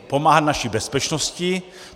Pomáhat naší bezpečnosti.